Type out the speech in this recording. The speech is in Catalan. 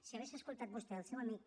si hagués escoltat vostè el seu amic